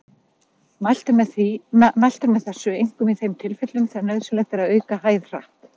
Mælt er með þessu einkum í þeim tilfellum þegar nauðsynlegt er að auka hæð hratt.